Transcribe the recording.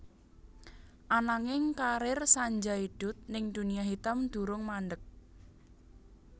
Ananging karir Sanjay Dutt ning dunia hitam durung mandhek